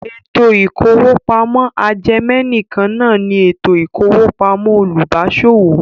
Ètò ìkówópamọ́ ajẹmẹ̀nìkan náà ní ètò ìkówópamọ́ olùbáṣòwò.